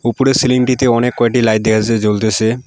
উপরের সিলিংটিতে অনেক কয়েটি লাইট দেখা যাসে জ্বলতেসে।